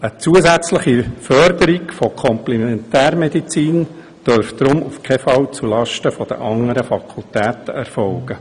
Eine zusätzliche Förderung der Komplementärmedizin dürfte deshalb auf keinen Fall zulasten der anderen Fakultäten erfolgen.